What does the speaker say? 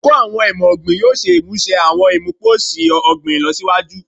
Oluko Awọn Imọ-ogbin yoo ṣe imuse awọn imuposi ogbin ilọsiwaju